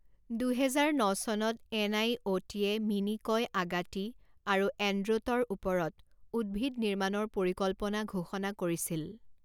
দুহেজাৰ ন চনত এনআইঅ'টিয়ে মিনিকয় আগাটি আৰু এণ্ড্ৰটৰ ওপৰত উদ্ভিদ নিৰ্মাণৰ পৰিকল্পনা ঘোষণা কৰিছিল।